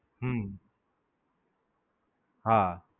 હમ હા.